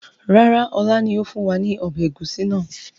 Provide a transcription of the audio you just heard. Rárá, ọlá ni ó fún wa ní ọbẹ̀ ẹ̀gúsí náà